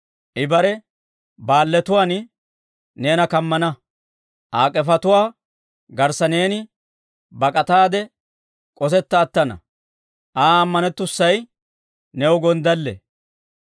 I bare baalletuwaan neena kammana; Aa k'efetuwaa garssa neeni bak'ataade k'osetta attana. Aa ammanettussay new gonddalle.